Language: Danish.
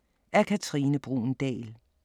Af Katrine Bruun Dahl